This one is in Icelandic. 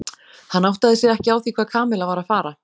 Hann áttaði sig ekki á því hvað Kamilla var að fara.